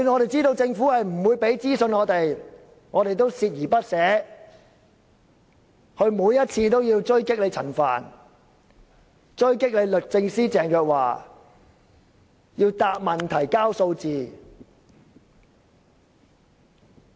即使知道政府不會提供資訊，我們也鍥而不捨，每次都要追擊陳帆和律政司司長鄭若驊，要求他們回答問題、提交數字。